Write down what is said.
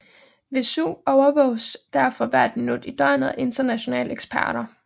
Vesuv overvåges derfor hvert minut i døgnet af internationale eksperter